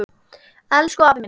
Elsku afi minn.